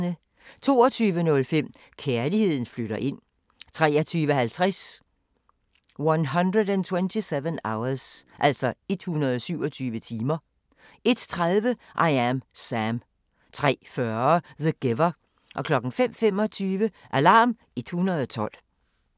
22:05: Kærligheden flytter ind 23:50: 127 Hours 01:30: I Am Sam 03:40: The Giver 05:25: Alarm 112